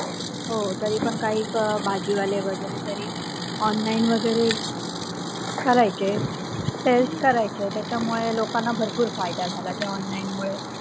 हो तरीपण काई भाजीवाले वगैरे तरी online वगैरे करायचे. Help करायचे. त्याच्यामुळे लोकांना भरपूर फायदा झाला ते online मुळे